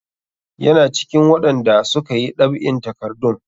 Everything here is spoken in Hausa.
Yana cikin waɗanda su ka yi ɗab'in takardun.